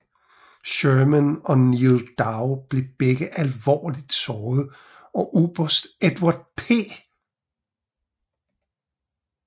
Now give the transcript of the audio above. Sherman og Neal Dow blev begge alvorligt såret og oberst Edward P